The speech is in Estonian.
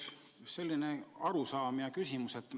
Selline arusaam ja küsimus.